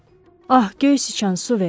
Ah, Göysüçən, su ver!